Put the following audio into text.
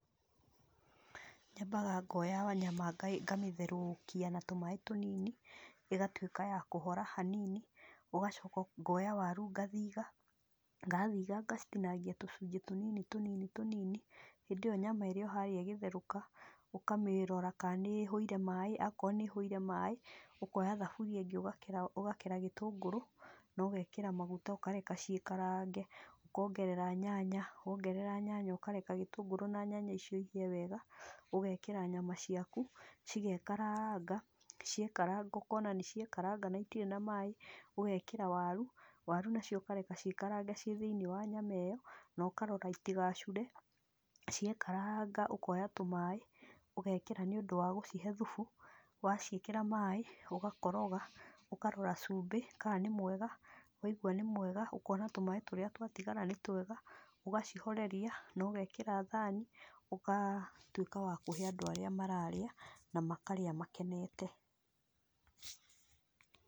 Nyambaga ngoya nyama nga ngamĩtherũkia na tũmaí tũnini, ĩgatwĩka ya kũhora hanini, ũgacoka ũ ngoya waru ngathitha, ndathitha ngacitinangia tũcunjĩ tũnini tũnini tũnini, hĩndĩ ĩyo nyama ĩrĩ o harĩa ĩgĩtherũka, ũkamĩrora kaa nĩhũire maĩ, ako nĩhũire maĩ, ũkoya thaburia ĩngĩ ũgakera gĩtũngũrũ nogekĩra maguta ũkareka ciĩkarange, ũkongerera nyanya, wongerera nyanya ũkareka gĩtũngũrũ na nyanya icio ihĩe wega, ũgekĩra nyama ciaku, cigekaranga, ciekaranga ũkona nĩciekaranga na itirĩ na maĩ, ũgekĩra waru, waru nacio ũkareka ciĩkarange ciĩ thĩ-inĩ wa maĩ, nokarora itigacure, ciekaranga ũkoya tũmaĩ ũgekĩra nĩũndũ wa gũcihe thubu, waciĩkĩra maĩ, ũgacikoroga, ũkarora cumbĩ ka nĩ mwega, waigua nĩ mwega, ũkona tũmaĩ tũrĩa twatigara nĩ twega, ũgacihoreria nogekĩra thani, ũgatwĩka wa kũhe andũ arĩa mararĩa na makarĩa makenete.